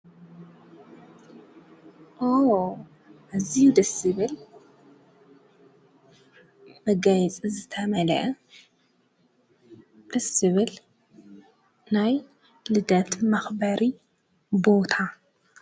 ኦ ኣዝዩ ደስ ዝብል መጋይፂ ዝተመልአ ደስ ዝብል ናይ ልደት መኽበሪ ቦታ።